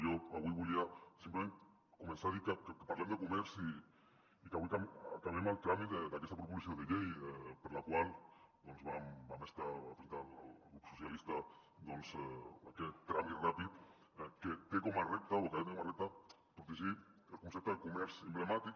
jo avui volia simplement començar a dir que parlem de comerç i que avui acabem el tràmit d’aquesta proposició de llei per la qual va presentar el grup socialistes doncs aquest tràmit ràpid que té com a repte o que ha de tenir com a repte protegir el concepte de comerç emblemàtic